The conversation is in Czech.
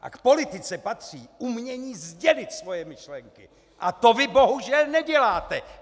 A k politice patří umění sdělit svoje myšlenky a to vy bohužel neděláte.